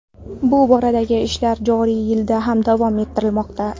Bu boradagi ishlar joriy yilda ham davom ettirilmoqda.